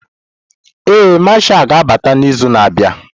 Ee, Mashal ga-abata n'izu na-abịa.